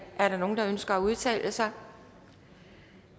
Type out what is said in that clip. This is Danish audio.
er der nogen der ønsker at udtale sig